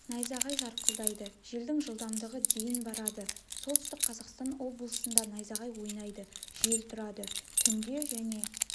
найзағай жарқылдайды желдің жылдамдығы дейін барады солтүстік қазақстан облысында найзағай ойнайды жел тұрады түнде және